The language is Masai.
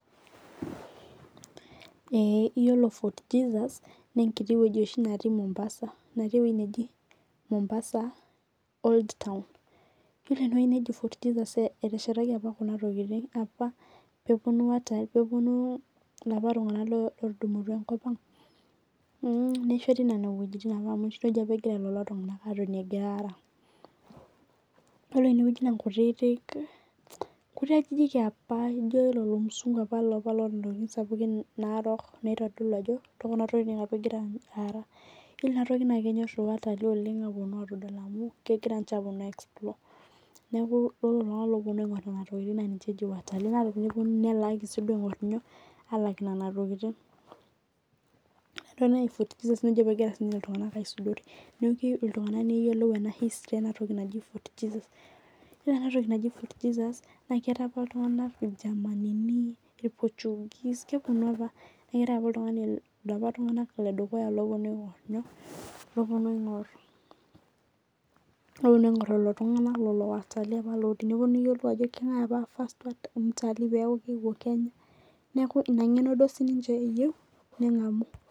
eyiolo for Jesus naa enkiti wueji oshi netii Mombasa natii ewueji najii Mombasa old town ore enewueji nejii fort Jesus neteshetaki apa Kuna tokitin apa pee epuonu elapa tung'ana otudumutua enkop Ang nesheti Nene wuejitin amu Nene wuejitin apa egira lelo tung'ana atonie egira Ara ore enewueji naa nkuti ajijik yapa ejio lapa mzungu otaa ntokitin Narok naitodolu Ajo tekulo tekotin apa egira araa ore Kuna tokitin naa kenyor oleng watalii apuonu atadol amu kegira naa ninche apuonu i explore neeku iyiolo iltung'ana apuonu aing'or Kuna tokitin nelakua enana tokitin ore enewueji nejii fort Jesus naa ninye egira apa iltung'ana aisudorie neeku keyieu iltung'ana neyiolou history efort jesu eyiolo ena toki najii fort Jesus naa keeta apa iltung'ana keetae apa elapa tung'ana ledukuya lopuonu aing'or lelo tung'ana apa oiterutua apuonu teniyieu niyiolou Ajo kengae apa first mtalii pee elotu kennya neeku ena ng'eno siniche eyieu nengamu